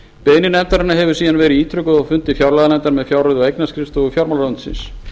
beiðni nefndarinnar hefur síðan verið ítrekuð á fundi fjárlaganefndar með fjárreiðu og eignaskrifstofu fjármálaráðuneytisins